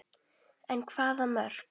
En hvaða mörk?